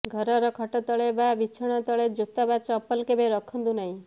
ଘର ର ଖଟ ତଳେ ବା ବିଛଣା ତଳେ ଜୋତା ବା ଚପଲ କେବେ ରଖନ୍ତୁ ନାହିଁ